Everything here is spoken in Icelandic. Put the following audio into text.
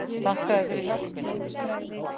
Þakka þér fyrir hjálpina